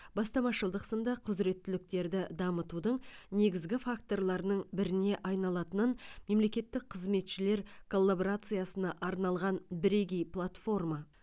бастамашылдық сынды құзіреттіліктерді дамытудың негізгі факторларының біріне айналатынын мемлекеттік қызметшілер коллаборациясына арналған бірегей платформа